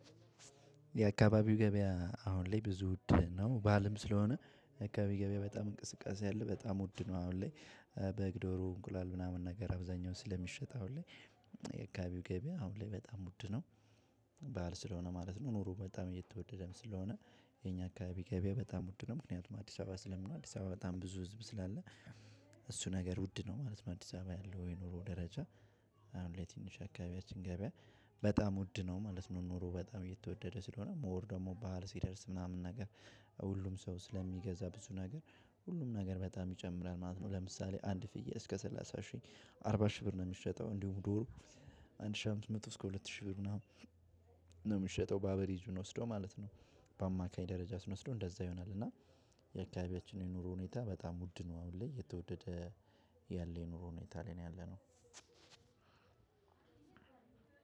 የአካባቢው ገበያ አሁን ላይ ብዙ ውድ ነው ባልም ስለሆነ የአካባቢየ ገበያ በጣም እንቅስቃሴ አለ በጣም ውድ ነው አሁን ላይ በግ ዶሮ እንቁላል ምናምን ነገር አብዛኛው ስለሚሸጥ አሁን ላይ። የአካባቢው ገበያ አሁን ላይ በጣም ውድ ነው ባል ስለሆነ ማለት ነው። ኑሮ በጣም እየተወደደም ስለሆነ የኛ አካባቢ ገበያ በጣም ውድ ነው። ምክንያቱም አዲስ አበባ ስለምነው አዲስ አበባ በጣም ብዙ ህዝብ ስላለ። እሱ ነገር ውድ ነው አዲስ አበባ ያለው የኑሮ ደረጃ። ለትንሽ አካባቢያችን ገበያ በጣም ውድ ነው ማለት ነው። ኑሮ በጣም እየተወደደ ስለሆነ ሞር ደግሞ ባህል ሲደርስ ምናምን ነገር ሁሉም ሰው ስለሚገዛ ብዙ ነገር ሁሉም ነገር በጣም ይጨምራል ማለት ነው። ለምሳሌ አንድ ፍየል እስከ ሰላሳ ሺህ አርባ ሺህ ብር ነው የሚሸጠው እንዲሁም ዶሮ። አንድ ሺህ አምስት መቶ እስከ ሁለት ሺህ ብር ምናምን ነው የምትሸጠው ባቬሬጅ ስንወስደው ማለት ነው። በአማካይ ደረጃ ስንወስደው እንደዛ ይሆናል። እና የአካባቢያችን የኑሮ ሁኔታ በጣም ውድ ነው። አሁን ላይ የተወደደ ያለ የኑሮ ሁኒታ ላይ ያለነው